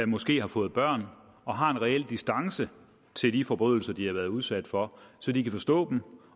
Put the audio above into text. måske har fået børn og har en reel distance til de forbrydelser de har været udsat for så de kan forstå dem